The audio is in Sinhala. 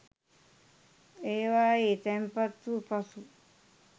ඒවායේ තැන්පත් වූ පසු